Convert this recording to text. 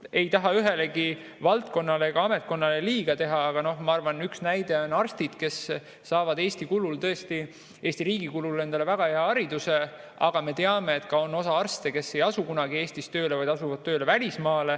Ei taha ühelegi valdkonnale ega ametkonnale liiga teha, aga ma arvan, et üks näide on arstid, kes saavad Eesti riigi kulul tõesti väga hea hariduse, aga me teame, et osa arste ei asu kunagi Eestis tööle, vaid nad asuvad tööle välismaal.